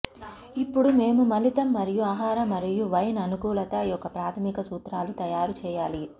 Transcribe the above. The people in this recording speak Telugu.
ఇప్పుడు మేము మిళితం మరియు ఆహార మరియు వైన్ అనుకూలత యొక్క ప్రాథమిక సూత్రాలు తయారు చేయాలి